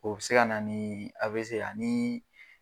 O bi se ka na ni ani